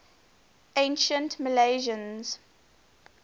ancient milesians